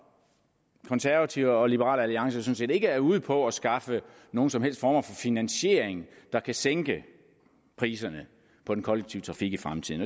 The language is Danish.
konservative og liberal alliance sådan set ikke er ude på at skaffe nogen som helst form for finansiering der kan sænke priserne på den kollektive trafik i fremtiden